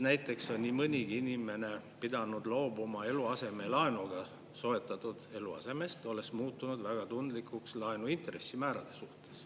Näiteks on nii mõnigi inimene pidanud loobuma eluasemelaenuga soetatud eluasemest, olles muutunud väga tundlikuks laenu intressimäärade suhtes.